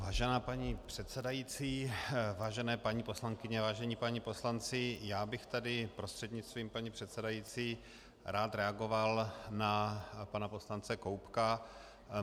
Vážená paní předsedající, vážené paní poslankyně, vážení páni poslanci, já bych tady prostřednictvím paní předsedající rád reagoval na pana poslance Koubka.